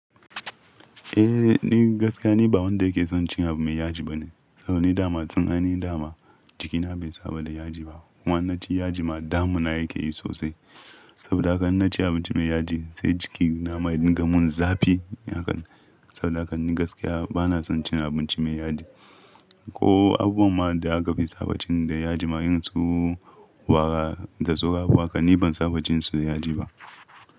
Eh, ni gaskiya ni ba wanda yake son cin abun me yaji bane. Saboda ni dama can ainahi dama jikina bai saba da yaji ba. In naci yaji ma damuna yake yi sosai. Saboda haka in na ci abinci me yaji sai jiki na ma ya duga mun zafi. Saboda haka ni gaskiya ba na son cin abinci me yaji. Ko abubuwan ma da aka fi sabachin da yaji ma Irin su wara da tsowa haka ni ban sabacinsu da yaji ba.